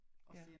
Ja